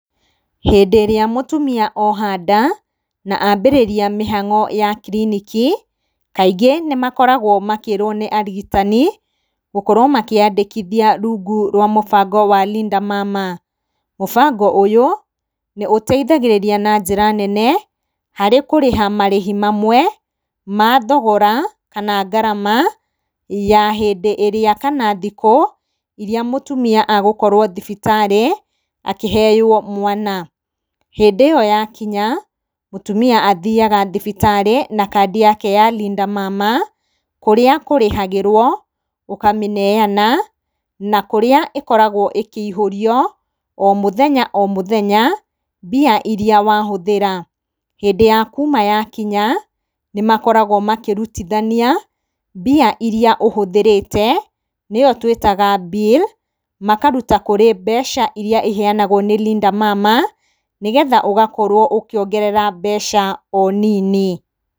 Hĩndĩ ĩrĩa mũtumia oha nda na ambĩrĩria mĩhang'o ya kiriniki, kaingĩ nĩmakoragwo makĩrwo nĩ arigitani gũkorwo makĩyandĩkithia rungu rwa mũbango wa Linda Mama. Mũbango ũyũ nĩũteithagĩrĩria na njĩra nene harĩ kũrĩha marĩhi mamwe ma thogora kana ngarama ya hĩndĩ ĩrĩa kana thikũ iria mũtumia agũkorwo thibitarĩ akĩheywo mwana. Hindĩ ĩyo yakinya mũtumia athiyaga thibitarĩ na kandi yake ya Linda Mama, kũrĩa kũrĩhagĩrwo ũkamĩneyana na kũrĩa ĩkoragwo ĩkĩihũrio o mũthenya o mũthenya mbia iria wahũthĩra. Hĩndĩ ya kuma yakinya nĩmakoragwo makĩrutithania mbia iria ũhũthĩrĩte nĩyo twĩtaga bill makaruta kwĩ mbia ira iheyanagwo nĩ Linda Mama, nĩgetha ũgakorwo ũkĩongerera o mbeca nini.